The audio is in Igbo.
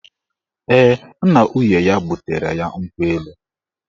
Ee, nna nwunye ya butere ya nkwụ elu